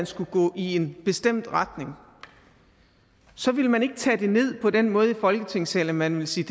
skulle gå i en bestemt retning ville man ikke tage det ned på den måde i folketingssalen at man ville sige